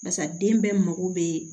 Basa den bɛɛ mako bɛ